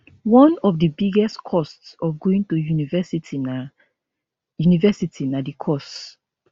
one of di biggest costs of going to university na university na di course